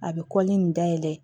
A bɛ kɔlili in dayɛlɛ